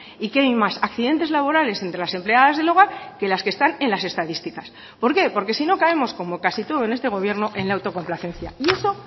y que hay más accidentes laborales entre las empleadas del hogar que las que están en las estadísticas por qué porque si no caemos como casi todo en este gobierno en la autocomplacencia y eso